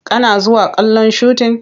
Kana zuwa kallon shutin?